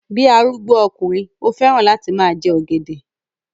Bí arúgbó okùnrin, ó fẹ́ràn láti máa jẹ ọ̀gẹ̀dẹ̀